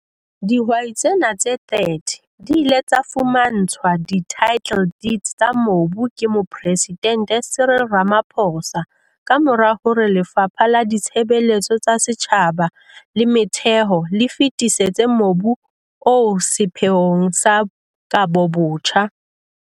Dihwai tsena tse 30 di ile tsa fumantshwa di-title deed tsa mobu ke Mopresidente Cyril Ramaphosa ka mora hore Lefapha la Ditshebeletso tsa Setjhaba le Metheo le fetisetse mobu oo sepheong sa kabobotjha.